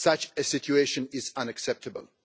Such a situation is unacceptable.